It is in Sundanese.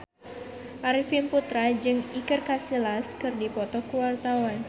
Arifin Putra jeung Iker Casillas keur dipoto ku wartawan